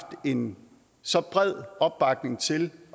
en så bred opbakning til